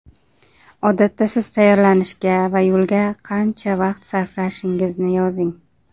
Odatda siz tayyorlanishga va yo‘lga qancha vaqt sarflashingizni yozing.